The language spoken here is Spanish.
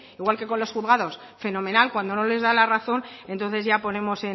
igual que con los juzgados fenomenal cuando no les da la razón entonces ya ponemos